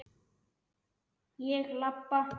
Ég labba.